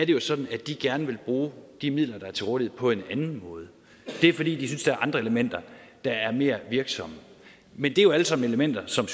jo sådan at de gerne vil bruge de midler der er til rådighed på en anden måde det er fordi de synes der er andre elementer der er mere virksomme men det er jo alle sammen elementer som